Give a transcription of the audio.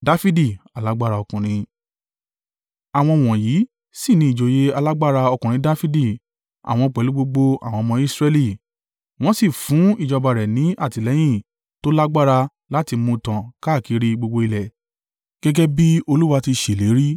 Àwọn wọ̀nyí sì ni ìjòyè alágbára ọkùnrin Dafidi, àwọn pẹ̀lú gbogbo àwọn ọmọ Israẹli, wọ́n sì fún ìjọba rẹ̀ ní àtìlẹ́yìn tó lágbára láti mú un tàn káàkiri gbogbo ilẹ̀, gẹ́gẹ́ bí Olúwa ti ṣèlérí.